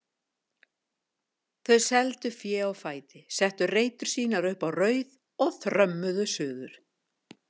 Þau seldu féð á fæti, settu reytur sínar upp á Rauð og þrömmuðu suður.